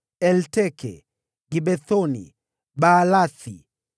Elteke, Gibethoni, Baalathi,